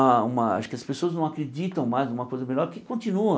uma acho que as pessoas não acreditam mais numa coisa melhor que continua.